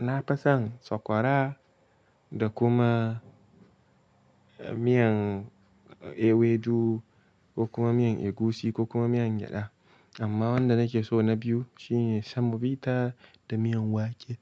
Na fason sakwara da kuma miyan ewedu ko kuma miyan egusi ko kuma miyan gyada. Amma wanda nake so na biyu shine semovita da miyan wake.